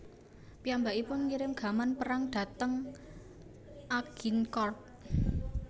Piyambakipun ngirim gaman perang dhateng Agincourt